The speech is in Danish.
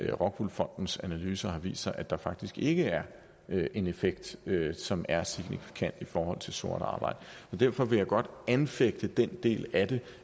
rockwool fondens analyser har vist sig at der faktisk ikke er en effekt som er signifikant i forhold til sort arbejde og derfor vil jeg godt anfægte den del af det